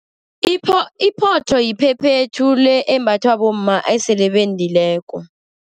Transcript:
Iphotho yiphephethu le embathwa bomma esele bendileko.